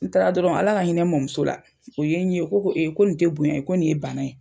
N taara dɔrɔn Ala ka hinɛ n mamuso la, o ye n ye o ko ko ko nin te bonya ye ko nin ye bana ye.